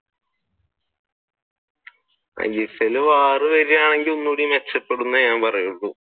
isl ഇൽ variable വരുവാണെങ്കിൽ ഒന്നുകൂടി രക്ഷപ്പെടുന്നെ ഞാൻ പറയുള്ളു